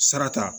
Sara ta